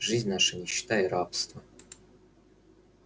жизнь наша нищета и рабство